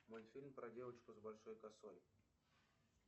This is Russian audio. мультфильм про девочку с большой косой